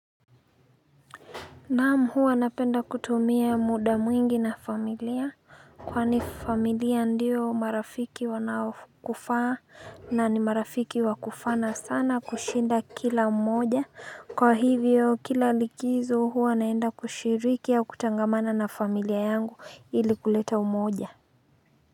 Naam hua napenda kutumia muda mwingi na familia Kwani familia ndio marafiki wanaokufaa na ni marafiki wa kufana sana kushinda kila mmoja kwa hivyo kila likizo hua naenda kushiriki au kutangamana na familia yangu ili kuleta umoja.